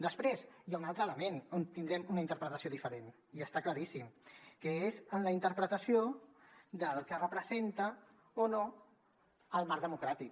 després hi ha un altre element on tindrem una interpretació diferent i està claríssim que és en la interpretació del que representa o no el marc democràtic